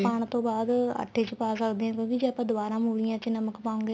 ਪਾਣ ਤੋਂ ਬਾਅਦ ਆਟੇ ਚ ਪਾ ਸਕਦੇ ਆ ਇੰਨੁ ਵੀ ਜੇ ਆਪਾਂ ਦੁਬਾਰਾ ਮੂਲੀਆਂ ਚ ਨਮਕ ਪਾਉਗੇ ਤਾਂ